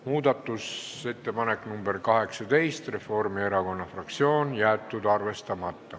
Muudatusettepanek nr 18 Reformierakonna fraktsioonilt, jäetud arvestamata.